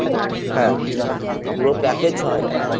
হ্যাঁ। পুরো package ছ’হাজার।